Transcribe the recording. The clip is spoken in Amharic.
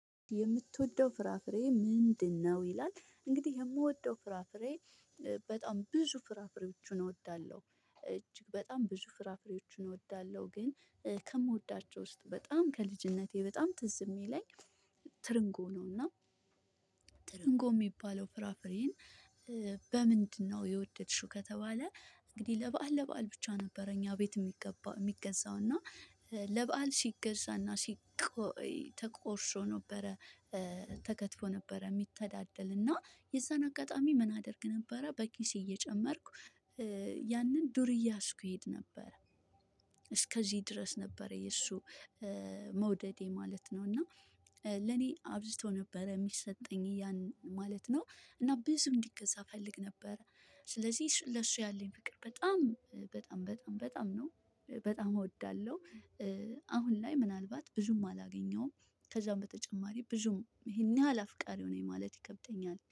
የምትወደው ፍራፍሬ ምንድነው? ይላል እንግዲህ የምወደው ፍራፍሬ በጣም ብዙ ፍራፍሬዎችን እወዳለሁ እጅግ በጣም ብዙ ፍራፍሬዎችን እወዳለሁ ግን ከምወዳቸው ውስጥ በጣም ከልጅነቴ በጣም ትዝ የሚለኝ ትርንጎ ነው። እና ትርንጎ የሚባለው ፍራፍሬን በምንድነው የወደድሽው ከተባለ? እንግዲህ ለበአል ለበአል ብቻ ነበረ። እኛ ቤት የሚገዛው እና ለበአል ሲገዛና ሲቆይ ተቆርሶ ነበረ። ተከትፎ ነበረ የሚተዳደል እና የዛን አጋጣሚ ምን አደርግ ነበረ በኪስ እየጨመርኩ ያንን ዱር እያዝኩ ይሄድ ነበር። እስከዚህ ድረስ ነበረ የእሱ መውደድ ማለት ነው። እና ለኔ አብዝቶ ነበር የሚሰጠኝ ያን ማለት ነው። እና ብዙ እንዲገዛ እፈልግ ነበር። ስለዚህ ለሱ ያለኝ ፍቅር በጣም በጣም በጣም በጣም ነው በጣም እወዳለሁ። አሁን ላይ ምናልባት ብዙም አላገኘውም ከዛም በተጨማሪ ብዙም ይሄን ያህል አፍቃሪው ነኝ ማለት ይከብተኛል